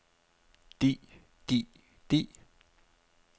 de de de